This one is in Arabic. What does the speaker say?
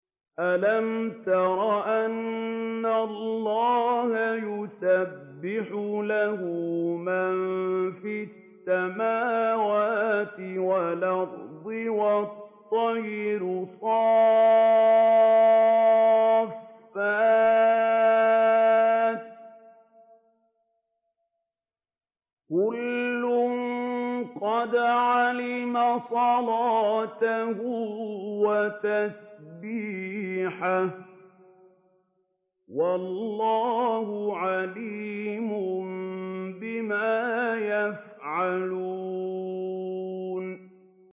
أَلَمْ تَرَ أَنَّ اللَّهَ يُسَبِّحُ لَهُ مَن فِي السَّمَاوَاتِ وَالْأَرْضِ وَالطَّيْرُ صَافَّاتٍ ۖ كُلٌّ قَدْ عَلِمَ صَلَاتَهُ وَتَسْبِيحَهُ ۗ وَاللَّهُ عَلِيمٌ بِمَا يَفْعَلُونَ